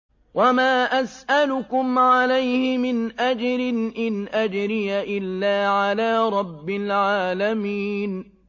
وَمَا أَسْأَلُكُمْ عَلَيْهِ مِنْ أَجْرٍ ۖ إِنْ أَجْرِيَ إِلَّا عَلَىٰ رَبِّ الْعَالَمِينَ